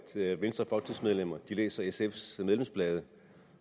venstrefolketingsmedlemmer læser sfs medlemsblade